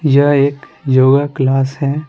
यह एक योगा क्लास है।